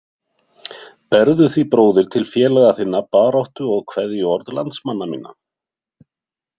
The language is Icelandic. Berðu því bróðir til félaga þinna baráttu- og kveðjuorð landsmanna minna.